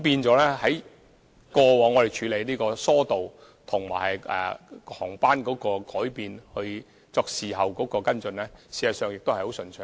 所以，過往我們處理疏導，以及就航班改變作事後跟進，事實上都很順暢。